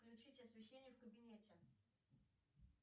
включить освещение в кабинете